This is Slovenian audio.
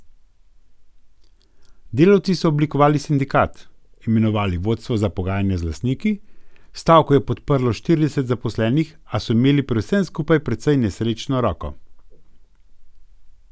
Delavci so oblikovali sindikat, imenovali vodstvo za pogajanja z lastniki, stavko je podprlo štirideset zaposlenih, a so imeli pri vsem skupaj precej nesrečno roko.